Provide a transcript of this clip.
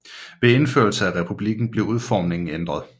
Ved indførelse af republikken blev udformingen ændret